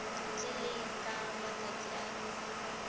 ntle le ka matsatsi a